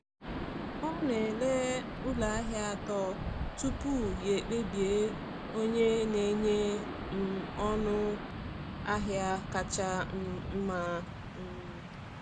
Ọ na-ele ụlọ ahịa atọ tupu ya ekpebi onye na-enye um ọnụ ahịa kacha um mma. um